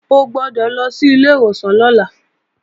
O gbọ́dọ̀ lọ sí ilé ìwòsàn lọ́la!